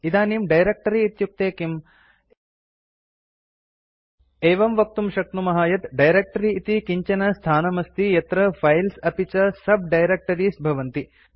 इदानीं डायरेक्ट्री इत्युक्ते किम् एवं वक्तुं शक्नुमः यत् डायरेक्ट्री इति किञ्चन स्थानमस्ति यत्र फाइल्स् अपि च sub डायरेक्टरीज़ भवन्ति